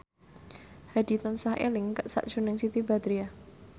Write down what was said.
Hadi tansah eling sakjroning Siti Badriah